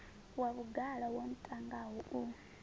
wa vhugala wo ntangaho u